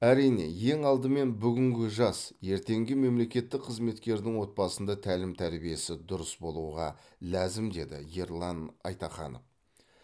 әрине ең алдымен бүгінгі жас ертеңгі мемлекеттік қызметкердің отбасында тәлім тәрбиесі дұрыс болуға ләзім деді ерлан айтаханов